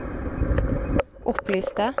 opplyste